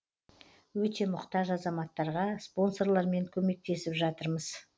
өте мұқтаж азаматтарға спонсорлармен көмектесіп жатырмыз